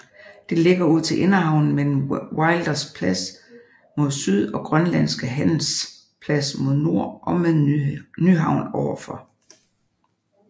Det ligger ud til Inderhavnen mellem Wilders Plads mod syd og Grønlandske Handels Plads mod nord og med Nyhavn overfor